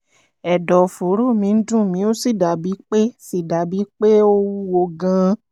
ẹ̀dọ̀fóró mi ń dùn mí ó sì dàbíi pé sì dàbíi pé ó wúwo gan-an